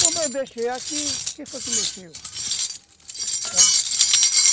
Pô, mas eu deixei aqui, quem foi que mexeu?